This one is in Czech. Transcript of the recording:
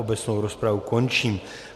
Obecnou rozpravu končím.